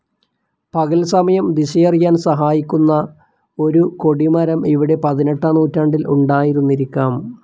പകൽസമയം ദിശയറിയാൻ സഹായിക്കുന്ന ഒരു കൊടിമരം ഇവിടെ പതിനെട്ടാം നൂറ്റാണ്ടിൽ ഉണ്ടായിരുന്നിരിക്കാം.